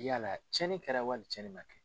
Yala cɛnni kɛra wali cɛnni ma kɛ?